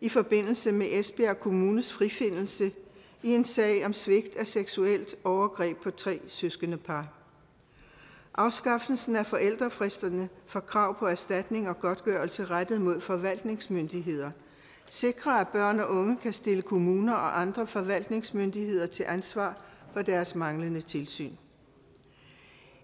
i forbindelse med esbjerg kommunes frifindelse i en sag om svigt i forbindelse seksuelt overgreb på tre søskendepar afskaffelsen af forældelsesfristerne for krav på erstatning og godtgørelse rettet mod forvaltningsmyndigheder sikrer at børn og unge kan stille kommuner og andre forvaltningsmyndigheder til ansvar for deres manglende tilsyn